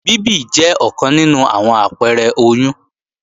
Bíbì jẹ́ ọ̀kan nínú àwọn àpẹrẹ oyún